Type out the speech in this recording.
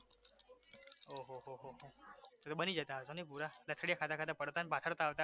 તો તો બની જતા હશો ને પુરા લથડિયા ખાતા પડતા ને પાખડતા આવતા